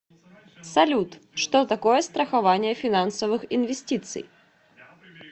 салют что такое страхование финансовых инвестиций